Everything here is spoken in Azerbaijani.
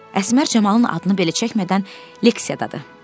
Əsmər Camalın adını belə çəkmədən leksiyadadır.